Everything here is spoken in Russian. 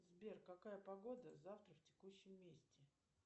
сбер какая погода завтра в текущем месте